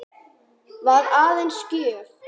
Var aðeins gjöf.